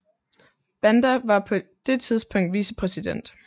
Banda var på det tidspunkt vicepræsident